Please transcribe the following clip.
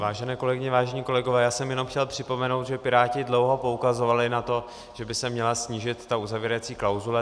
Vážené kolegyně, vážení kolegové, já jsem jenom chtěl připomenout, že Piráti dlouho poukazovali na to, že by se měla snížit ta uzavírací klauzule.